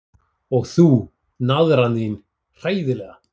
Og þú, naðran þín, hræðilega.